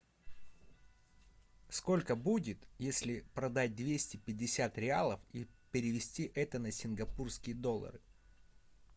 сколько будет если продать двести пятьдесят реалов и перевести это на сингапурские доллары